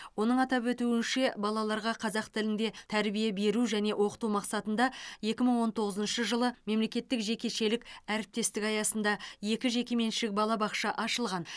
оның атап өтуінше балаларға қазақ тілінде тәрбие беру және оқыту мақсатында екі мың он тоғызыншы жылы мемлекеттік жекешелік әріптестік аясында екі жекеменшік балабақша ашылған